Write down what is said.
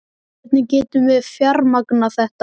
Hvernig getum við fjármagnað þetta?